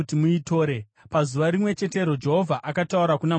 Pazuva rimwe chetero Jehovha akataura kuna Mozisi akati,